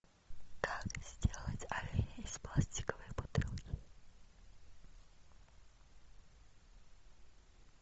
как сделать оленя из пластиковой бутылки